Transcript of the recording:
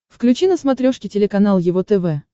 включи на смотрешке телеканал его тв